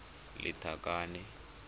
lethakane